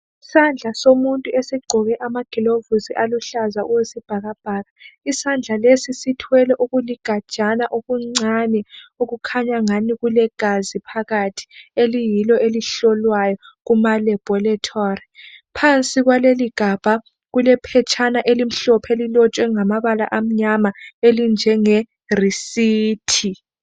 Isandla somuntu esigqoke amagilovisi aluhlaza okwesibhakabhaka, isandla lesi sithwele okuligajana okuncane okukhanya ngani kulegazi phakathi eliyilo elihlolwayo kuma laboratory. Phansi kwaleligabha kulephetshana elimhlophe elilotshwe ngamabala amnyama elinjenge receipt